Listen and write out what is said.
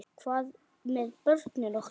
Hvað með börnin okkar?